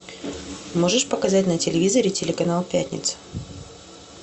можешь показать на телевизоре телеканал пятница